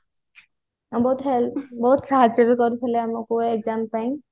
ବହୁତ help ବହୁତ ସାହାଯ୍ୟ ବି କରୁଥିଲେ ଆମକୁ exam ପାଇଁ